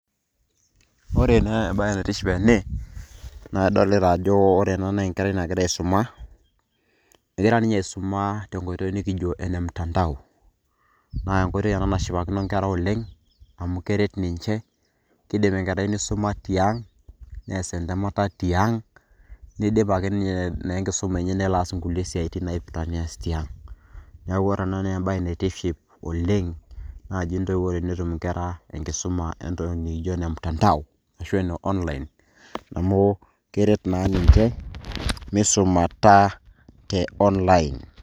ore naa ebae naitiship ene naa, idolita ajo enkerai nagira aisuma, egira ninye aisuma te nkoitoi nikijo ene mtandao. naa enkoitoi ena nashipakino nkera oleng. amu keret ninche kidim enkerai nisuma tiang' nees entemata tiang' nidip ake ninye enkisuma enye nelo aas inkulie siatin naipirta nees tiang'.neeku ore ena naa ebae naitiship oleng. naai intoiwuo tenetuum inkera enkisuma entoki nikijo ene mtandao ashu ene online amu keret naa ninche misumat te online